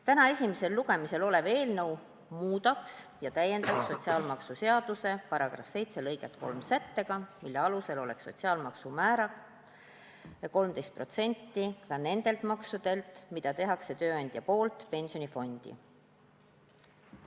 Täna esimesel lugemisel olev eelnõu muudaks ja täiendaks sotsiaalmaksuseaduse § 7 lõiget 3 sättega, mille alusel oleks sotsiaalmaksu määr 13% ka nende maksude puhul, mida tööandja teeb pensionifondi.